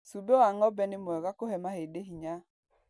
Cumbĩ wa ng'ombe nĩ mwega kũhe mahindĩ hinya.